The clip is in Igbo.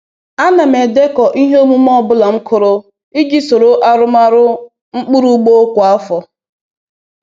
A na m edekọ ihe omume ọ bụla m kụrụ iji soro arụmọrụ mkpụrụ ugbo kwa afọ